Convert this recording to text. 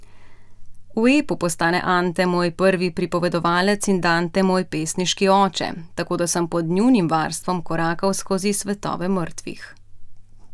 V epu postane Ante moj prvi pripovedovalec in Dante moj pesniški oče, tako da sem pod njunim varstvom korakal skozi svetove mrtvih.